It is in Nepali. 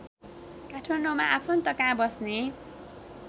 काठमाडौँमा आफन्तकहाँ बस्ने